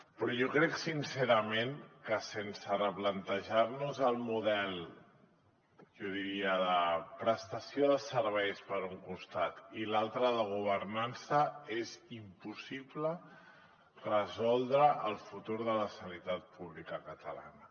però jo crec sincerament que sense replantejar nos el model jo diria de prestació de serveis per un costat i per l’altre de governança és impossible resoldre el futur de la sanitat pública catalana